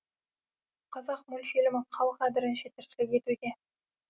қазақ мультфильмі қал қадірінше тіршілік етуде